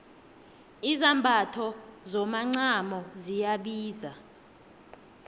izambatho zomacamo ziyabiza